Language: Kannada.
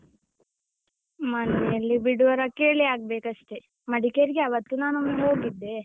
ಮನೆಯಲ್ಲಿ ಬಿಡುವರ ಕೇಳಿ ಆಗ್ಬೇಕಷ್ಟೇ, ಮಡಿಕೇರಿಗೆ ಅವತ್ತು ನಾನೊಮ್ಮೆ ಹೋಗಿದ್ದೆ.